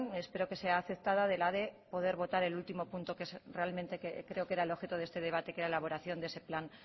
espero que sea aceptada la de poder el último punto que creo que era el objeto de este debate que era la elaboración de ese plan